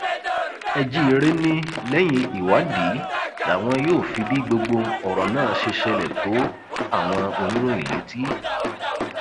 ẹjíre ni lẹyìn ìwádìí làwọn yóò fi bí gbogbo ọrọ náà ṣe ṣẹlẹ tó àwọn oníròyìn létí